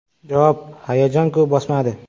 Javob: Hayajon-ku bosmadi.